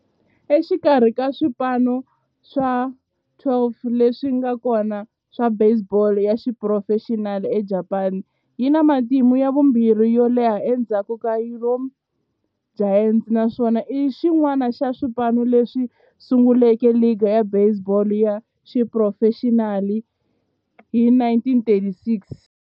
Exikarhi ka swipano swa 12 leswi nga kona swa baseball ya xiphurofexinali eJapani, yi na matimu ya vumbirhi yo leha endzhaku ka Yomiuri Giants, naswona i xin'wana xa swipano leswi sunguleke ligi ya baseball ya xiphurofexinali hi 1936.